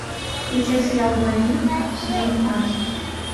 включай сериал двойник сезон пятнадцать